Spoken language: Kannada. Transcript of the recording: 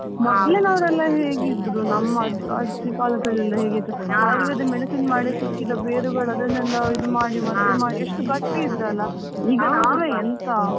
ಮೊದ್ಲಿನವ್ರೆಲ್ಲ ಹೇಗಿದ್ರು ನಮ್ಮ ಅಜ್ಜಿ ಕಾಲದಲ್ಲಿ ಎಲ್ಲ ಹೇಗಿದ್ರು Ayurvedic medicine ಮಾಡಿ ಸಿಕ್ಕಿದ ಬೇರುಗಳು ಅದನ್ನೆಲ್ಲಾ ಇದು ಮಾಡಿ ಮದ್ದು ಮಾಡಿ ಎಷ್ಟು ಗಟ್ಟಿ ಇದ್ರಲ್ಲ ಈಗ ನಾವೇ ಎಂತಾ?